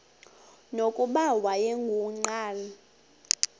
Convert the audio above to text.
nokuba wayengu nqal